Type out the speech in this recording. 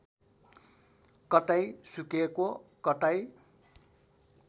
कतै सुकेको कतै